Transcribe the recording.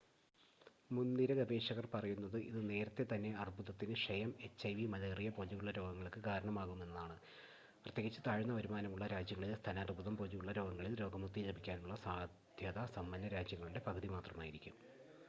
മുൻനിര ഗവേഷകർ പറയുന്നത് ഇത് നേരത്തേതന്നെ അർബുദത്തിന് ക്ഷയം എച്ച്ഐവി മലേറിയ പോലുള്ള രോഗങ്ങൾക്ക് കാരണമാകുമെന്നാണ് പ്രത്യേകിച്ച് താഴ്ന്ന വരുമാനമുള്ള രാജ്യങ്ങളിൽ സ്തനാർബുദം പോലുള്ള രോഗങ്ങളിൽ രോഗമുക്തി ലഭിക്കാനുള്ള സാദ്ധ്യത സമ്പന്ന രാജ്യങ്ങളുടെ പകുതി മാത്രമായിരിക്കും